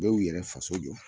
Dɔw y'u yɛrɛ faso jɔ